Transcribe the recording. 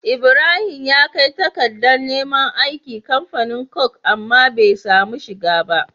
Ibrahim ya kai takadar neman aiki kamfanin coke amma be samu shiga ba